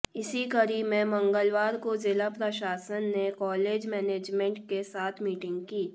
इसी कड़ी में मंगलवार को जिला प्रशासन ने कॉलेज मैनेजमेंट के साथ मीटिंग की